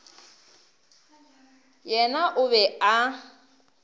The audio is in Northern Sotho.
yena o be a na